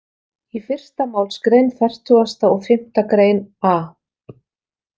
Í fyrsta málsgrein fertugasta og fimmta grein a.